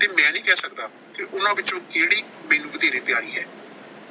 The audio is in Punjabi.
ਤੇ ਮੈਂ ਨਹੀਂ ਕਿਹ ਸਕਦਾ ਕਿ ਉਨ੍ਹਾਂ ਵਿੱਚੋਂ ਕਹਿੜੀ ਮੈਨੂੰ ਵਧੇਰੇ ਪਿਆਰੀ ਹੈ।